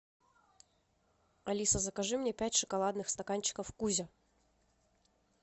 алиса закажи мне пять шоколадных стаканчиков кузя